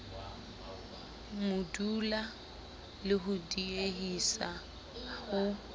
modula le ho diehisa ho